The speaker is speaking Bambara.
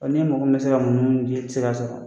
Hali n'e mɔgɔ min man se ka i tɛ se k'a sara.